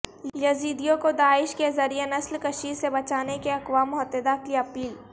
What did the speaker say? یزیدیوں کو داعش کے ذریعہ نسل کشی سے بچانے کی اقوام متحدہ کی اپیل